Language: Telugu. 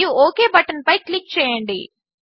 మరియు ఒక్ బటన్పై క్లిక్ చేయండి